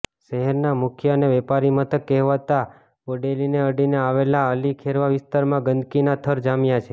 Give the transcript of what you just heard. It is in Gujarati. શહેરના મુખ્ય અને વેપારી મથક કહેવાતા બોડેલીને અડીને આવેલા અલીખેરવા વિસ્તારમાં ગંદકીના થર જામ્યા છે